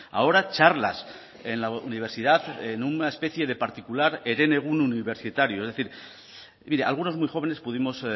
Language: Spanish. ahora charlas en la universidad en una especie de particular herenegun universitario es decir mire algunos muy jóvenes pudimos